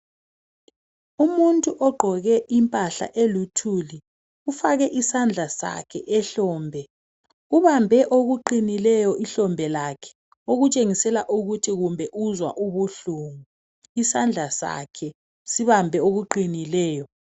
Umuntu ogqoke impahla eluthuli ufake isandla sakhe ehlombe, ubambe okuqinileyo ehlombe lakhe okutshengisa ukuthi kumbe uzwa ubuhlungu, isandla sakhe sibambe okuqinileyo.